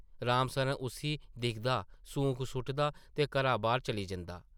राम सरन उस्सी दिखदा, सूंक सुʼटदा ते घरा बाह्र चली जंदा ।